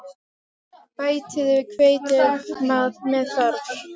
Bætið við hveiti ef með þarf.